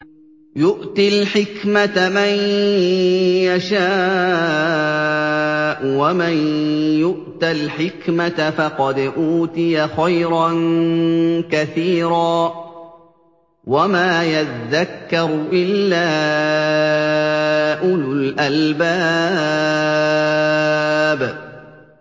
يُؤْتِي الْحِكْمَةَ مَن يَشَاءُ ۚ وَمَن يُؤْتَ الْحِكْمَةَ فَقَدْ أُوتِيَ خَيْرًا كَثِيرًا ۗ وَمَا يَذَّكَّرُ إِلَّا أُولُو الْأَلْبَابِ